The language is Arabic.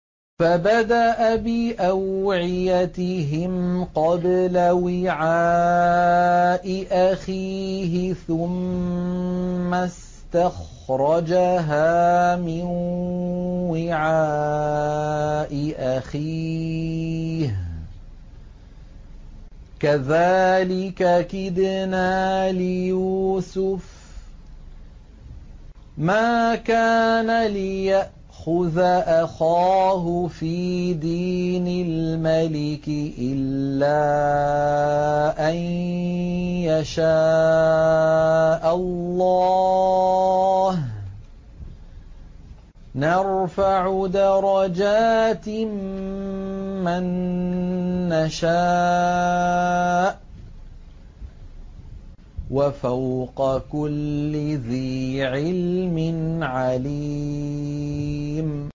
فَبَدَأَ بِأَوْعِيَتِهِمْ قَبْلَ وِعَاءِ أَخِيهِ ثُمَّ اسْتَخْرَجَهَا مِن وِعَاءِ أَخِيهِ ۚ كَذَٰلِكَ كِدْنَا لِيُوسُفَ ۖ مَا كَانَ لِيَأْخُذَ أَخَاهُ فِي دِينِ الْمَلِكِ إِلَّا أَن يَشَاءَ اللَّهُ ۚ نَرْفَعُ دَرَجَاتٍ مَّن نَّشَاءُ ۗ وَفَوْقَ كُلِّ ذِي عِلْمٍ عَلِيمٌ